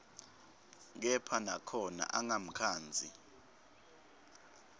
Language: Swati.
kepha nakhona angamkhandzi